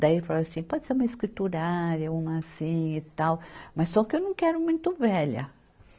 Daí ele falou assim, pode ser uma escriturária, uma assim e tal, mas só que eu não quero muito velha.